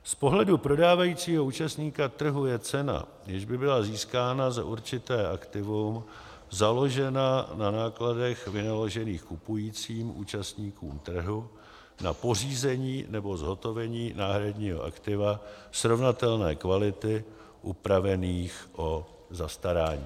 Z pohledu prodávajícího účastníka trhu je cena, jež by byla získána za určité aktivum, založena na nákladech vynaložených kupujícím účastníkem trhu na pořízení nebo zhotovení náhradního aktiva srovnatelné kvality, upravených o zastarání.